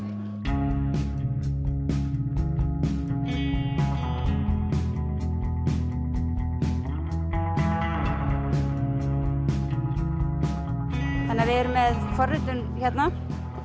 við erum með forritun hérna